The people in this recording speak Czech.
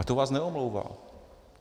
Ale to vás neomlouvá.